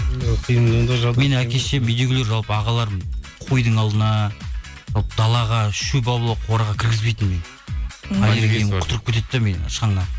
менің әке шешем үйдегілер жалпы ағаларым қойдың алдына далаға шөп алуға қораға кіргізбейтін мені құтырып кетеді де менің шаңнан